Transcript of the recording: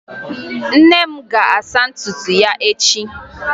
Nne m ga-asa ntutu ya echi